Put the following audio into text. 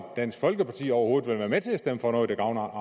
dansk folkeparti overhovedet vil være med til at stemme for noget der gavner